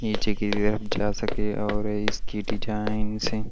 नीचे की तरफ जा सके और इसकी डिजाइन से --